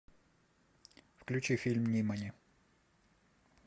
включи фильм нимани